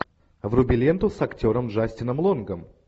вруби ленту с актером джастином лонгом